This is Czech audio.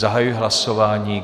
Zahajuji hlasování.